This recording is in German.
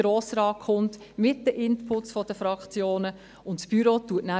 Danach soll es mit den Inputs der Grossratsfraktionen in den Grossen Rat kommen.